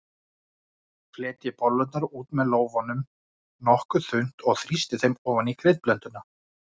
Fletjið bollurnar út með lófanum nokkuð þunnt og þrýstið þeim ofan í kryddblönduna.